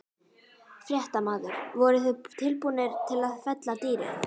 Fréttamaður: Voruð þið tilbúnir til að fella dýrið?